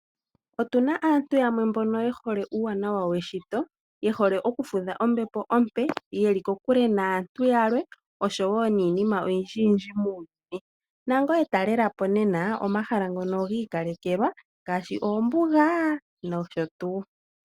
Otu na aantu yamwe mbono ye hole uuwanawa weshito, ye hole oku fudha ombepo ompe, ye li kokule naantu yalwe osho wo niinima oyindjiyindji muuyuni. Nangoye talela po nena omahala ngono gi ikalekelwa ngaashi oombuga nosho tuu.